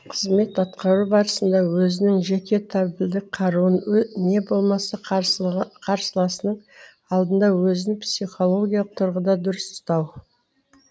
қызмет атқару барысында өзінің жеке табельдік қаруын не болмаса қарсыласының алдында өзін психологиялық тұрғыда дұрыс ұстау